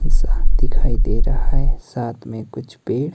येसा दिखाई दे रहा है साथ मे कुछ पेड़--